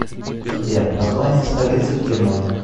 сбер название столицы в германии